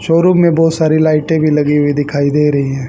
Showroom में बहुत सारी लाइटें भी लगी हुई दिखाई दे रही हैं।